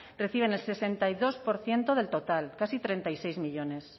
empresas reciben el sesenta y dos por ciento del total casi treinta y seis